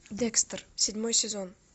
декстер седьмой сезон